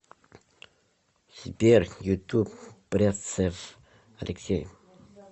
сбер ютуб бряцев алексей